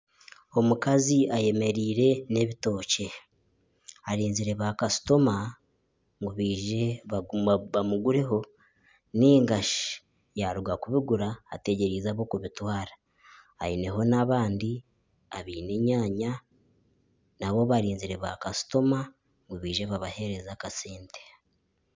Omukazi ayemereire n'ebitookye arinzire bakasitoma ngu baije bamugureho nigashi yaruga kubigura ateegyerize ab'okubitwara aineho n'abandi abaine enyanya naabo barizire bakasitoma ngu baije babahereze akasente.